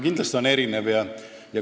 Kindlasti on erinevad.